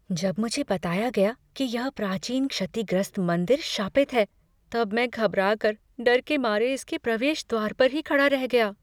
जब मुझे बताया गया कि यह प्राचीन क्षतिग्रस्त मंदिर शापित है तब मैं घबरा कर डर के मारे इसके प्रवेश द्वार पर ही खड़ा रह गया।